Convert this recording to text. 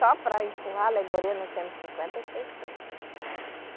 Só para empurrar a alegoria nós temos cinquenta pessoas.